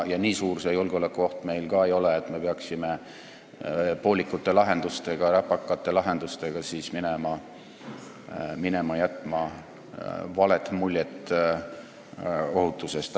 Ja nii suur see julgeolekuoht meil ka ei ole, et me peaksime poolikute, räpakate lahendustega minema ja jätma vale mulje ohutusest.